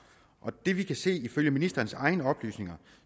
og det vi kan se ifølge ministerens egne oplysninger